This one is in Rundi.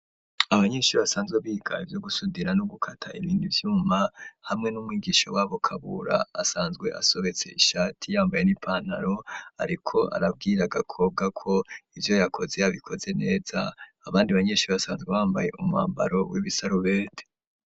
Abanyeshuri basanzwe biga ivyo gusudira n'ugukata ibindi vyuma, hamwe n'umwigisha wabo Kabura, asanzwe asobetse ishati yambaye n'ipantaro, ariko arabwira Gakobwa ko ivyo yakoze yabikoze neza, abandi banyeshuri basanzwe bambaye umwambaro w'ibisarubete.